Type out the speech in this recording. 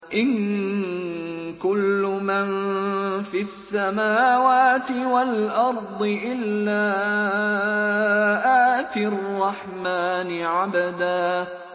إِن كُلُّ مَن فِي السَّمَاوَاتِ وَالْأَرْضِ إِلَّا آتِي الرَّحْمَٰنِ عَبْدًا